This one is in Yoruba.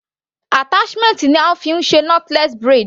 Attachment ni a fí ń ṣe knotless braid.